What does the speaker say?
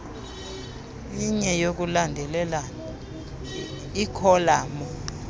inye yokulandelelana ikholamu